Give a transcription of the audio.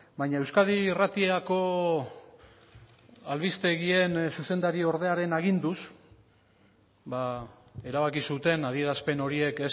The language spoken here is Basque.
baina euskadi irratiko albistegien zuzendari ordearen aginduz erabaki zuten adierazpen horiek